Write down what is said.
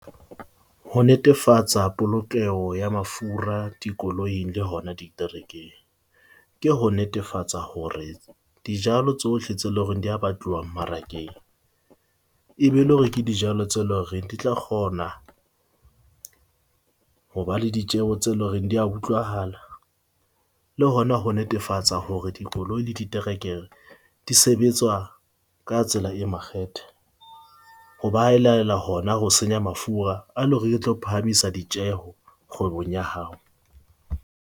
Ho netefatsa polokeho ya mafura dikoloing le hona diterekeng. Ke ho netefatsa hore dijalo tsohle tse leng hore di a batluwa mmarakeng, e be le hore ke dijalo tse loreng di tla kgona, ho ba le ditjeho tse loreng di a utlwahala le hona ho netefatsa hore dikoloi le diterekere di sebetswa ka tsela e makgethe. Hoba leela hona ho senya mafura a, le hore ke tlo phahamisa ditjeo kgwebong ya hao.